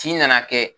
Tin nana kɛ